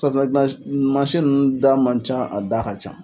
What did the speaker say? Safinɛgilan masi nunnu da man ca a da ka ca